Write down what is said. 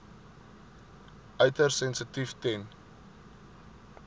uiters sensitief ten